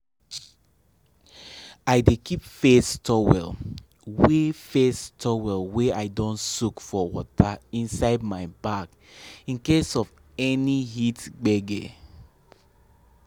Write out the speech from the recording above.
i dey keep face towel wey face towel wey i don soak for water inside my bag in case of any heat gbege